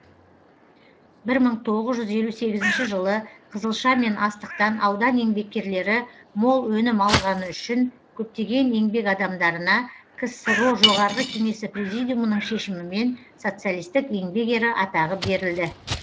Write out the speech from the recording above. бір мың тоғыз жүз елу сегізінші жылы қызылша мен астықтан аудан еңбеккерлері мол өнім алғаны үшін көптеген еңбек адамдарына ксро жоғарғы кеңесі президиумының шешімімен социалистік еңбек ері атағы берілді